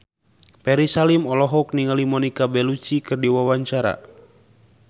Ferry Salim olohok ningali Monica Belluci keur diwawancara